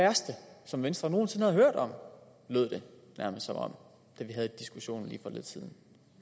værste som venstre nogen sinde havde hørt om lød det nærmest som om da vi havde diskussionen lige for lidt siden